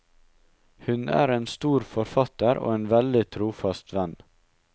Hun er en stor forfatter og en veldig trofast venn.